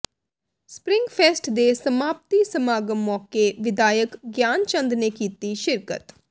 spring fest ਦੇ ਸਮਾਪਤੀ ਸਮਾਗਮ ਮੌਕੇ ਵਿਧਾਇਕ ਗਿਆਨਚੰਦ ਨੇ ਕੀਤੀ ਸ਼ਿਰਕਤ